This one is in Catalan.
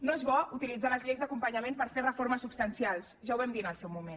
no és bo utilitzar les lleis d’acompanyament per fer reformes substancials ja ho vam dir en el seu moment